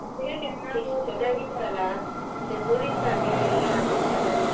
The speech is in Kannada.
ಎಷ್ಟ್ ಚೆನ್ನಾಗಿತ್ತಲಾ memories ಆಗ್ಲಿ ಎಲ್ಲಾ ಅದೇ ಚನಾಗಿತ್ತು.